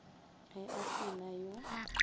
ge a se na yo